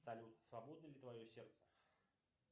салют свободно ли твое сердце